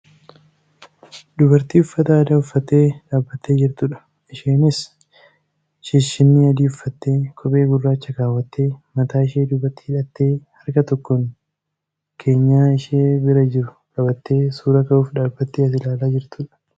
Dubartii uffata aadaa uffattee dhaabbattee jirtudha. Isheenis shishinnii adii uffattee; kophee gurraacha kaawwattee; mataa ishee duubatti hidhattee harka tokkoon keenyaa ishee bira jiru qabattee suuraa ka'uuf dhaabattee as ilaalaa jirtudha.